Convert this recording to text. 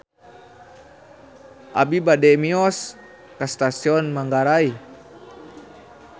Abi bade mios ka Stasiun Manggarai